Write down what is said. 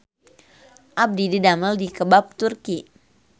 Abdi didamel di Kebab Turki